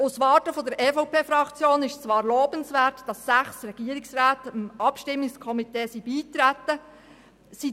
Aus der Warte der EVP-Fraktion ist es zwar lobenswert, dass sechs Regierungsräte dem Abstimmungskomitee beigetreten sind.